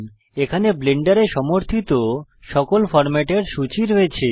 এখানে ব্লেন্ডারে সমর্থিত সকল ফরম্যাটের সূচী রয়েছে